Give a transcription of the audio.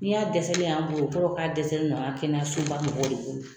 Ni y'a dɛsɛlen ye an bolo o kɔrɔ ye k'a dɛsɛlen don an ka kɛnɛyasoba mɔgɔw de bolo